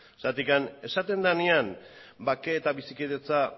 zergatik esaten denean bakea eta bizikidetza